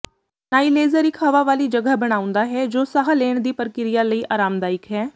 ਨਾਈਲੇਜ਼ਰ ਇੱਕ ਹਵਾ ਵਾਲੀ ਜਗ੍ਹਾ ਬਣਾਉਂਦਾ ਹੈ ਜੋ ਸਾਹ ਲੈਣ ਦੀ ਪ੍ਰਕਿਰਿਆ ਲਈ ਆਰਾਮਦਾਇਕ ਹੈ